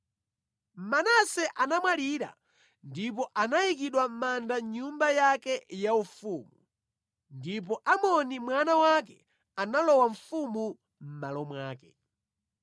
Manase anamwalira ndipo anayikidwa mʼmanda mʼnyumba yake yaufumu. Ndipo Amoni mwana wake analowa ufumu mʼmalo mwake.